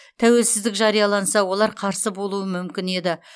тәуелсіздік жарияланса олар қарсы болуы мүмкін еді